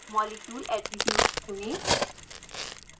molecule attributes चुनें